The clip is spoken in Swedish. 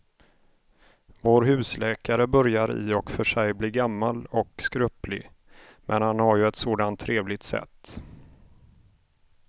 Vår husläkare börjar i och för sig bli gammal och skröplig, men han har ju ett sådant trevligt sätt!